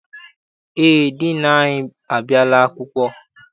Eé, diinu anyị abịala akwụkwọ.